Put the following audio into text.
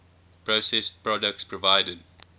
processed products provided